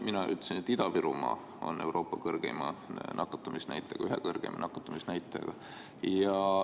Mina ütlesin, et Ida-Virumaa on Euroopa ühe kõrgeima nakatumisnäitajaga.